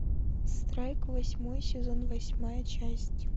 страйк восьмой сезон восьмая часть